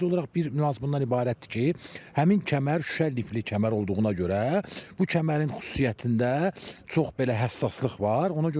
Sadəcə olaraq bir nüans bundan ibarətdir ki, həmin kəmər şüşə lifli kəmər olduğuna görə bu kəmərin xüsusiyyətində çox belə həssaslıq var.